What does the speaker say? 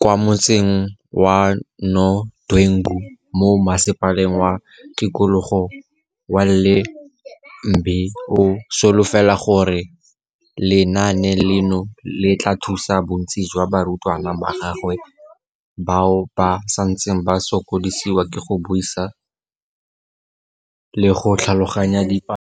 kwa motseng wa Nodwengu mo Masepaleng wa Tikologo wa Ile mbe o solofela gore lenaane leno le tla thusa bontsi jwa barutwana ba gagwe bao ba santseng ba sokodisiwa ke go buisa le go tlhaloganya dipalo.